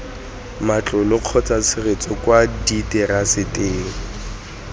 matlole kgotsa tshegetso kwa diteraseteng